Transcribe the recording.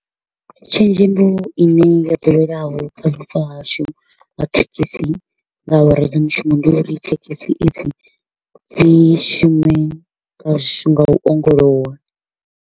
Tshenzhemo i ne ya ḓoweleaho kha vhupo hashu ha thekhisi nga awara dza mushumo, ndi uri thekhisi i dzi dzi shume nga shu nga u ongolowa.